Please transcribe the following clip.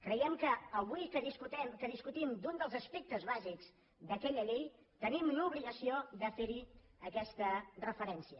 creiem que avui que discutim un dels aspectes bàsics d’aquella llei tenim l’obligació de fer hi aquesta referència